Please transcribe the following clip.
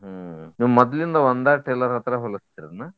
ಹ್ಮ್ ನೀವ್ ಮದ್ಲಿಂದ ಒಂದ tailor ಹತ್ರ ಹೊಲಸ್ತೇರಿ ಏನ?